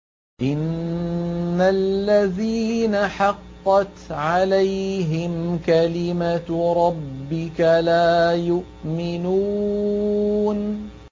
إِنَّ الَّذِينَ حَقَّتْ عَلَيْهِمْ كَلِمَتُ رَبِّكَ لَا يُؤْمِنُونَ